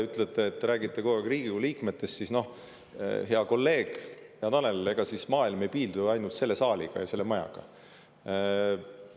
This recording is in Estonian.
Te räägite kogu aeg Riigikogu liikmetest, aga, hea kolleeg, hea Tanel, ega siis maailm ei piirdu ju ainult selle saaliga ja selle majaga.